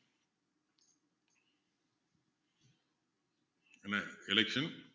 என்ன election